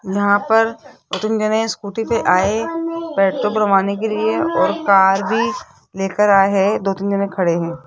यहां पर दो तीन जाने स्कूटी पर आए पेट्रोल भरवाने के लिए और कार भी लेकर आए हैं दो तीन जाने खड़े हैं।